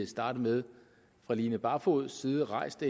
starte med fra line barfods side rejst